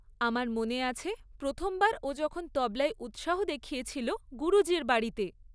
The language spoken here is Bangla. আমার মনে আছে প্রথমবার ও যখন তবলায় উৎসাহ দেখিয়েছিল গুরুজীর বাড়িতে।